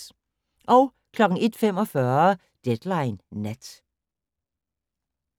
01:45: Deadline Nat